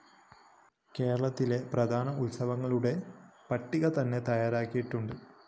കേരളത്തിലെ പ്രധാന ഉത്സവങ്ങളുടെ പട്ടിക തന്നെ തയ്യാറാക്കിയിട്ടുണ്ട്‌